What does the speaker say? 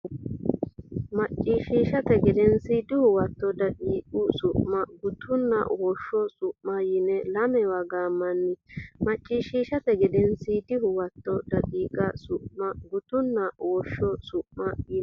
Macciishshate Gedensiidi Huwato daqiiqa Su ma gutunna woshsho su ma yine lamewa gaammanni Macciishshate Gedensiidi Huwato daqiiqa Su ma gutunna woshsho su ma yine.